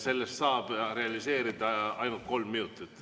Sellest saab realiseerida ainult kolm minutit.